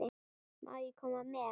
Má ég koma með?